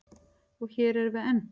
Og hér erum við enn.